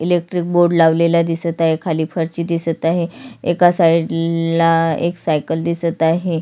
Electric board लावलेला दिसत आहे.खाली फरशी दिसत आहे एका साइड ला एक सायकल दिसत आहे.